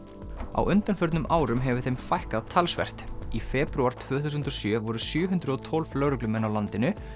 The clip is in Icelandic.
á undanförnum árum hefur þeim fækkað talsvert í febrúar tvö þúsund og sjö voru sjö hundruð og tólf lögreglumenn á landinu